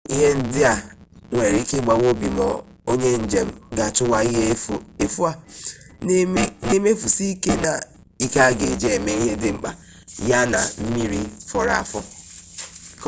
ihe ndị a nwere ike ịgbawa obi ma onye njem gaa chụwa ihe efu a na-emefusi ike a ga-eji eme ihe dị mkpa ya na mmiri fọrọ afọ